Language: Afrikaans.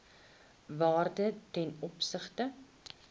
waarde ten opsigte